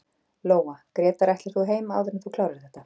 Lóa: Grétar ætlar þú heim áður en þú klárar þetta?